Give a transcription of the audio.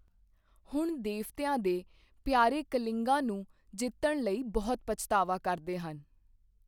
ਹੁਣ ਦੇਵਤਿਆਂ ਦੇ ਪਿਆਰੇ ਕਲਿੰਗਾਂ ਨੂੰ ਜਿੱਤਣ ਲਈ ਬਹੁਤ ਪਛਤਾਵਾ ਕਰਦੇ ਹਨ।